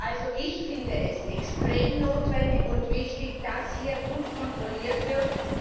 Also, ich finde es extrem notwendig und wichtig, dass hier gut kontrolliert wird.